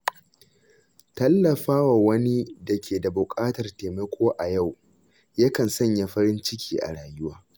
Tallafawa wani da ke da buƙatar taimako a yau, ya kan sanya farin ciki a rayuwa.